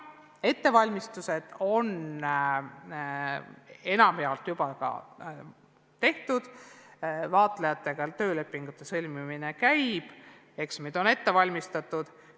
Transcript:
Ettevalmistused on enamjaolt juba tehtud, vaatlejatega töölepingute sõlmimine käib, eksamid on ette valmistatud.